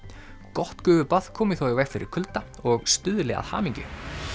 gott gufubað komi þó í veg fyrir kulda og stuðli að hamingju